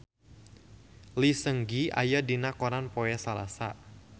Lee Seung Gi aya dina koran poe Salasa